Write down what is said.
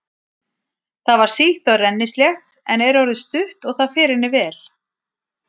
Það var sítt og rennislétt en er orðið stutt og það fer henni vel.